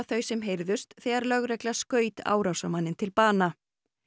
þau sem heyrðust þegar lögregla skaut árásarmanninn til bana